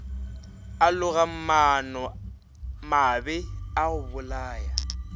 a loga maanomabe a gobolaya